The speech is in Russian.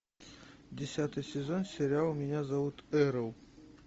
десятый сезон сериал меня зовут эрл